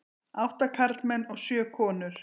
Átta karlmenn og sjö konur.